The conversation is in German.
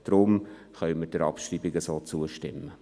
Deshalb können wir der Abschreibung so zustimmen.